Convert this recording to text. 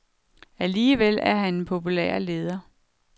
Alligevel er han en populær leder.